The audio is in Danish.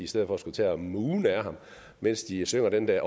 stedet for skulle tage og moone ad ham mens de synger den der